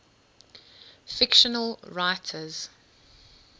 fictional writers